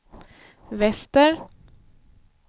väster